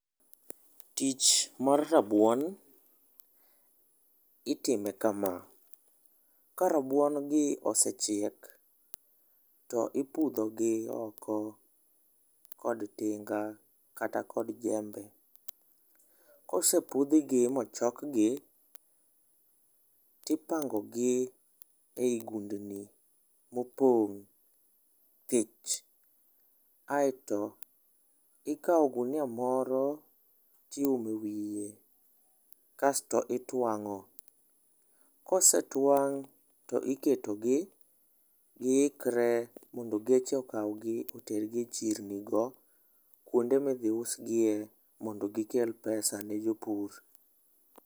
Tich mar rabuon itime kama : karabuon gi osechiek to ipudho gi oko kod tinga kata kod jembe. Kosepudhgi mochokgi , tipango gi e gundni mopong' thich aeto ikawo ogunia moro tiume wiye kasto itwang'o . Kosetwang' tiketogi giikre mondo geche okawgi e chirni go, kuonde midhi usgie mondo gikel pesa ne jopur.